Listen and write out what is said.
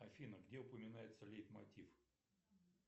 афина где упоминается лейтмотив